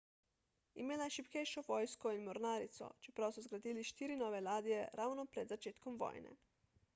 imela je šibkejšo vojsko in mornarico čeprav so zgradili štiri nove ladje ravno pred začetkom vojne